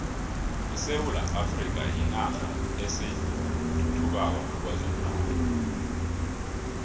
isewula afrika yinarha esathuthukako kwezomnotho